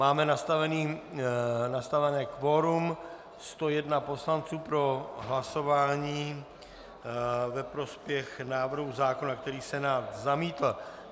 Máme nastavené kvorum 101 poslanců pro hlasování ve prospěch návrhu zákona, který Senát zamítl.